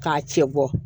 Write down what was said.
K'a cɛ bɔ